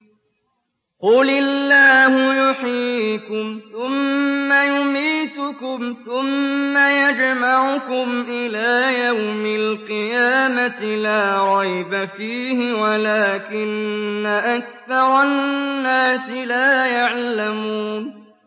قُلِ اللَّهُ يُحْيِيكُمْ ثُمَّ يُمِيتُكُمْ ثُمَّ يَجْمَعُكُمْ إِلَىٰ يَوْمِ الْقِيَامَةِ لَا رَيْبَ فِيهِ وَلَٰكِنَّ أَكْثَرَ النَّاسِ لَا يَعْلَمُونَ